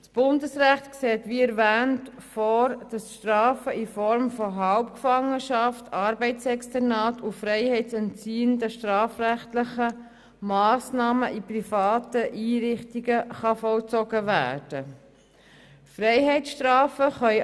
Das Bundesrecht sieht wie erwähnt vor, dass die Strafen in Form von Halbgefangenschaft, Arbeitsexternat und freiheitsentziehenden strafrechtlichen Massnahmen in privaten Einrichtungen vollzogen werden können.